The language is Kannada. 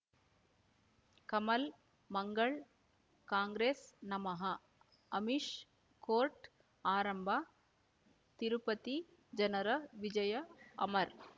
ಕಮಲ್ ಮಂಗಳ್ ಕಾಂಗ್ರೆಸ್ ನಮಃ ಅಮಿಷ್ ಕೋರ್ಟ್ ಆರಂಭ ತಿರುಪತಿ ಜನರ ವಿಜಯ ಅಮರ್